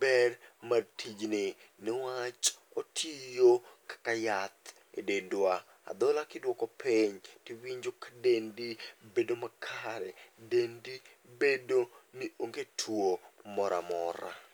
ber mar tijni, niwach otiyo kaka yath e dendwa. Adhola kidwoko piny, tiwinjo ka dendi bedo makare. Dendi bedo ni onge tuo moramora.